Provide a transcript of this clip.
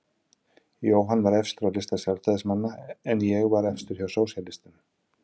Jóhann var efstur á lista Sjálfstæðismanna en ég var efstur hjá sósíalistum.